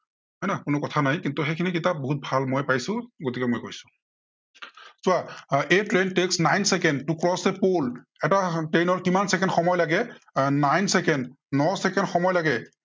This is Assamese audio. হয় নাই কোনো কথা নাই। কিন্তু সেইখিনি কিতাপ বহুত ভাল মই পাইছো, গতিকে মই কৈছো। চোৱা a train takes nine second to cross a pool এটা train ৰ কিমান চেকেণ্ড সময় লাগে আহ nine চেকেণ্ড, ন চেকেণ্ড সময় লাগে।